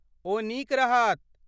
ओ नीक रहत।